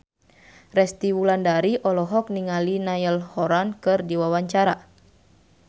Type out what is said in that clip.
Resty Wulandari olohok ningali Niall Horran keur diwawancara